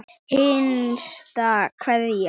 HINSTA KVEÐJA.